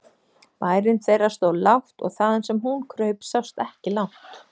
Bærinn þeirra stóð lágt og þaðan sem hún kraup sást ekki langt.